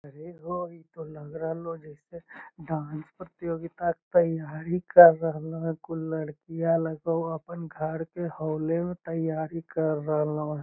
ये हो इतो लग रहल हो जैसे डांस प्रतियोगिता तैयारी कर रहल हो कुल लड़कियाँ लगो हो आपन घर के हॉले में तैयारी कर रहलो --